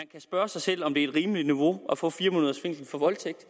spørge sig selv om det er et rimeligt niveau kun at få fire måneders fængsel for voldtægt